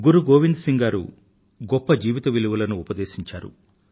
గురు గోవింద్ సింగ్ గారు గొప్ప జీవిత విలువలను ఉపదేశించారు